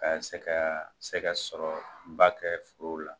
Ka se ka sɛgɛ sɔrɔ ba kɛ forow la